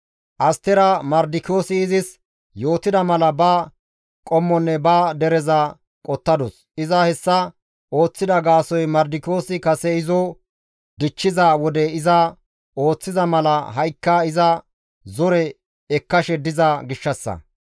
Astera Mardikiyoosi izis yootida mala ba qommonne ba dereza qottadus; iza hessa ooththida gaasoykka Mardikiyoosi kase izo dichchiza wode iza ooththiza mala ha7ikka iza zore ekkashe diza gishshassa.